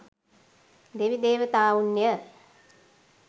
දෙවි දේවතාවුන් ය.